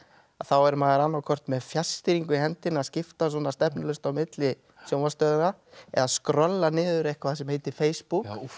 að þá er maður annað hvort með fjarstýringu í hendinni að skipta stefnulaust á milli sjónvarpsstöðva eða skrolla niður eitthvað sem heitir Facebook